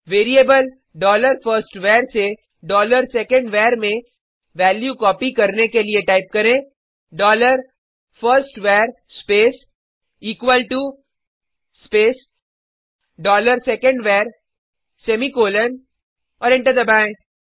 variable dollar first var से dollar second var में value copy करने के लिए टाइप करें dollar first var space equal to space dollar second var semicolon और एंटर दबाएँ